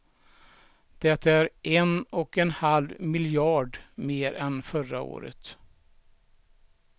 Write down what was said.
Det är en och en halv miljard mer än förra året.